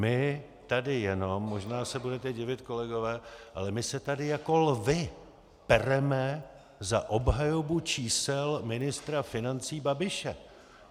My tady jenom, možná se budete divit, kolegové, ale my se tady jako lvi pereme za obhajobu čísel ministra financí Babiše.